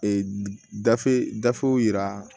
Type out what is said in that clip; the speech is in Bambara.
Ee gafe gafew yira